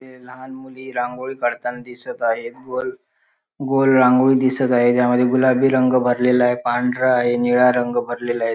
लहान मुली रांगोळी काढताना दिसत आहेत गोल गोल रांगोळी दिसत आहे त्यामध्ये गुलाबी रंग भरलेला आहे पांढरा आहे नीला रंग भरलेला आहे.